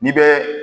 N'i bɛ